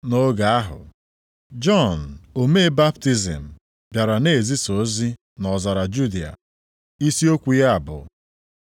Nʼoge ahụ, Jọn omee baptizim bịara na-ezisa ozi nʼọzara Judịa. Isi okwu ya bụ,